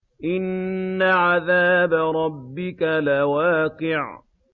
إِنَّ عَذَابَ رَبِّكَ لَوَاقِعٌ